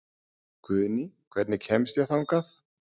Guðný, hvernig kemst ég þangað?